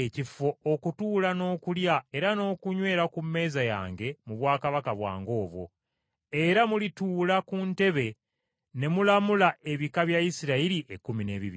okutuula n’okulya era n’okunywera ku mmeeza yange mu bwakabaka bwange obwo, era mulituula ku ntebe ne mulamula ebika bya Isirayiri ekkumi n’ebibiri.